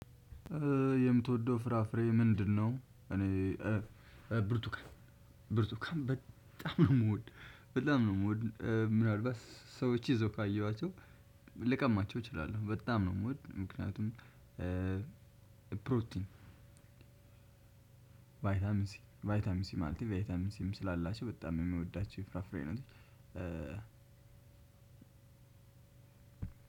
የምትወደው ፍራፍሬ ምንድነው? እኔ ብርቱካን ብርቱካን በጣም ነው የምወድ በጣም ነው የምወድ ምናልባት ሰዎች ይዞ ካየኋቸው ልቀማቸው እችላለሁ በጣም ነው የምወድ። ምክንያቱም ፕሮቲን። ቫይታሚን ሲ ቫይታሚን ሲ ማለት ቫይታሚን ሲም ስላላቸው በጣም የምወዳቸው ፍራፍሬ ነው።